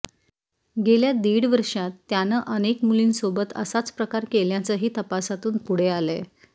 गेल्या दीड वर्षांत त्यानं अनेक मुलींसोबत असाच प्रकार केल्याचंही तपासातून पुढे आलंय